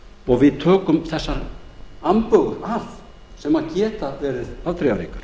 er og að við tökum þessar ambögur af sem geta verið afdrifaríkar